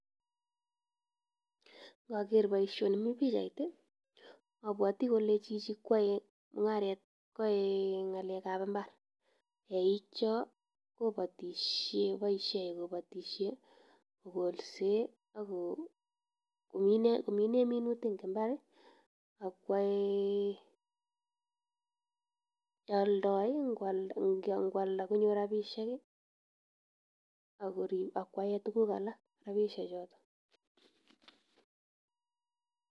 Indokeer boishonii mi pichait i,abwoti kole Chichi koyoe mung'aret, koyoe ng'alekab imbaar. Eik Chon koboishien kobotishien kogolseen ak komineen minuutik eng imbar. Ak kuoldoo, ingoaldaa konyor rabisiek ako koyaen tuguuk alak rabisiek choton.